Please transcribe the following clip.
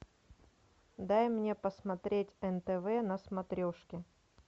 дай мне посмотреть нтв на смотрешке